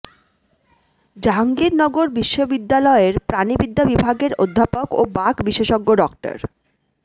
জাহাঙ্গীরনগর বিশ্ববিদ্যালয়ের প্রাণিবিদ্যা বিভাগের অধ্যাপক ও বাঘ বিশেষজ্ঞ ড